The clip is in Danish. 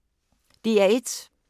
DR1